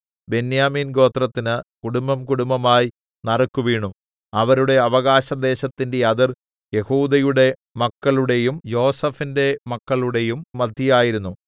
ബെന്യാമീൻ ഗോത്രത്തിന് കുടുംബംകുടുംബമായി നറുക്കു വീണു അവരുടെ അവകാശദേശത്തിന്റെ അതിർ യെഹൂദയുടെ മക്കളുടെയും യോസേഫിന്റെ മക്കളുടെയും മദ്ധ്യേ ആയിരുന്നു